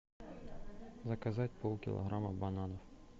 заказать полкилограмма бананов